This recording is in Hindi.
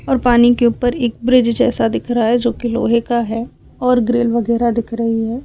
और पानी के ऊपर एक ब्रिज जैसा दिख रहा है जोकि लोहे का है और ग्रिल वगैरा दिख रही है।